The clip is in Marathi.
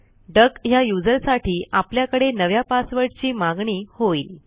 डक ह्या userसाठी आपल्याकडे नव्या पासवर्डची मागणी होईल